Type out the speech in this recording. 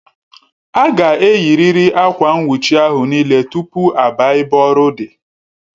Aga eyi riri Akwa nwuchi ahụ n'ile tupu a baa ebe ọrụ dị